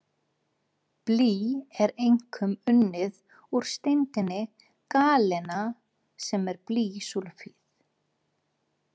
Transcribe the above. Blý er einkum unnið úr steindinni galena sem er blýsúlfíð.